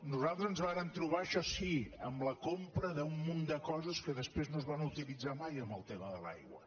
nosaltres ens vàrem trobar això sí amb la compra d’un munt de coses que després no es varen utilitzar mai en el tema de l’aigua